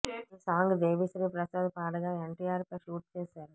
ఈ సాంగ్ దేవి శ్రీ ప్రసాద్ పాడగా ఎన్టిఆర్ పై షూట్ చేసారు